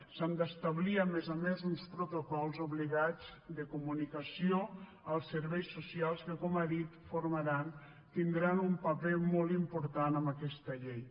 s’han d’establir a més a més uns protocols obligats de comunicació als serveis socials que com ha dit tindran un paper molt important en aquesta llei